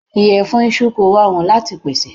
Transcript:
Ìyẹ̀fun iṣu kò rọrùn láti pèsè.